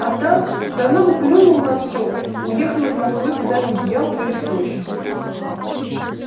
а так давно бы плюнул на всё уехал из москвы куда-нибудь в ялту или в сочи